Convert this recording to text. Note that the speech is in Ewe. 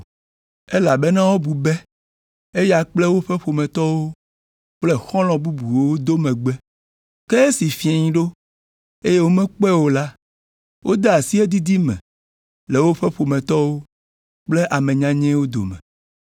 elabena wobu be eya kple woƒe ƒometɔwo kple xɔlɔ̃ bubuwo do megbe. Ke esi fiẽ ɖo, eye womekpɔe o la, wode asi edidi me le woƒe ƒometɔwo kple ame nyanyɛwo dome.